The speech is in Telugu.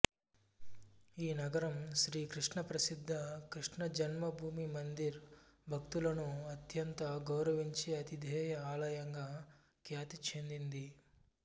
ఈ నగరం శ్రీకృష్ణ ప్రసిద్ధ కృష్ణ జన్మ భూమి మందిర్ భక్తులను అత్యంత గౌరవించే అతిధేయ ఆలయంగా ఖ్యాతి చెందింది